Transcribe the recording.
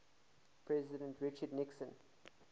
president richard nixon